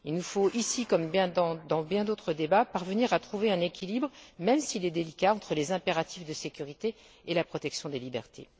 Il nous faut ici, comme dans bien d'autres débats, parvenir à trouver un équilibre, même s'il est délicat, entre les impératifs de sécurité et la protection des libertés.